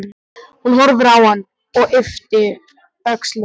Hún horfir á hann og ypptir öxlum.